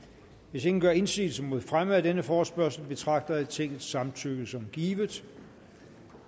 hvis ingen gør indsigelse mod fremme af denne forespørgsel betragter jeg tingets samtykke som givet